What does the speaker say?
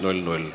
Parimat!